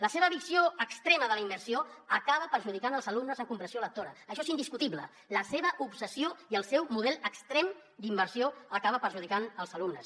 la seva visió extrema de la immersió acaba perjudicant els alumnes en compressió lectora això és indiscutible la seva obsessió i el seu model extrem d’immersió acaben perjudicant els alumnes